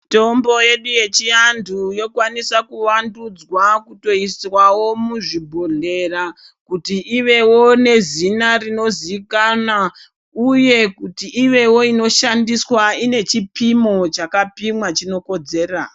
Mitombo yedu yechiandu yokwanisa kuvandudzwa kutoiswawo muzvibhodhlera kuti ivewo nezina rinozivikanwa uye kuti ivewo inoshandiswa ine chipimo chakapimwa chinokodzera.